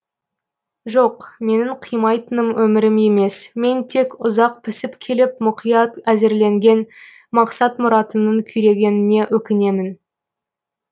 жоқ менің қимайтыным өмірім емес мен тек ұзақ пісіп келіп мүқият әзірленген мақсат мұратымның күйрегеніне өкінемін